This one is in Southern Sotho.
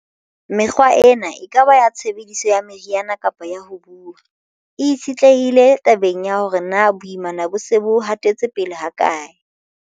Mekgwa ena, e ka ba ya tshebediso ya meriana kapa ya ho buuwa, e itshetlehile tabeng ya hore na boimana bona bo se bo hatetse pele hakae.